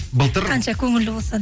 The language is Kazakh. былтыр қанша көңілді болса да